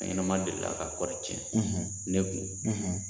Fɛnɲɛnama delila ka kɔɔri tiɲɛ ne kun